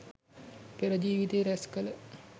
පෙර ජීවිතයේ රැස් කළ